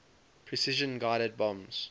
precision guided bombs